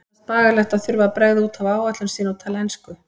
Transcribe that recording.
Eyrúnu fannst bagalegt að þurfa að bregða út af áætlun sinni og tala ensku.